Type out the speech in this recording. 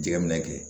Jɛgɛ minɛ kɛ